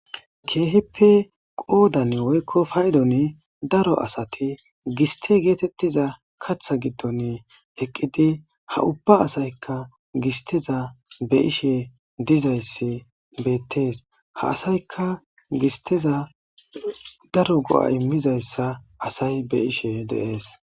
kehipe qoodan woyko paydoni daro asati giste getetiza katha giddon eqqidi ha ubba asayka gisteza beyishe dizaysi .beetes ha asayka gisteza kehipe daro go'a imizaysa beyishe de'os.